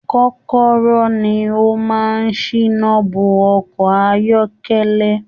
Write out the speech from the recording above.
Kọkọrọ ni o máa n sina bo ọkọ ayọkẹlẹ.